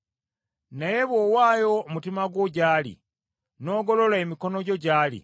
“Naye bw’owaayo omutima gwo gy’ali, n’ogolola emikono gyo gy’ali,